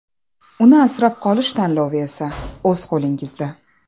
Uni asrab qolish tanlovi esa o‘z qo‘lingizda.